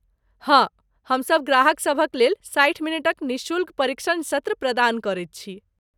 हाँ, हमसब ग्राहकसभक लेल साठि मिनटक निःशुल्क परीक्षण सत्र प्रदान करैत छी।